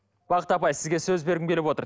бақыт апай сізге сөз бергім келіп отыр